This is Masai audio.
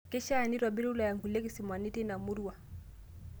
Keishaa neitobir wilaya nkulie kisimani teina murua